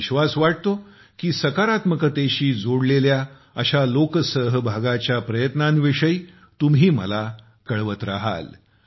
मला विश्वास वाटतो की सकारात्मकतेशी जोडलेल्या अशा लोकसहभागाच्या प्रयत्नांविषयी तुम्ही मला कळवत राहाल